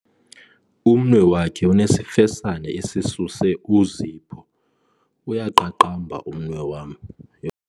Umnwe wakhe unesifesane esisuse uzipho. uyaqaqamba umnwe wam